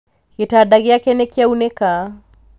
gĩtanda gĩake nĩkĩaunĩka